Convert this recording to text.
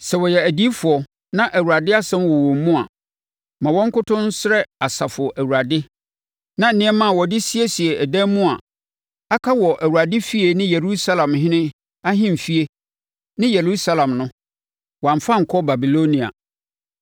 Sɛ wɔyɛ adiyifoɔ na Awurade asɛm wɔ wɔn mu a, ma wɔn nkoto nsrɛ Asafo Awurade na nneɛma a wɔde siesie dan mu a aka wɔ Awurade efie ne Yudahene ahemfie ne Yerusalem no, wɔamfa ankɔ Babilonia.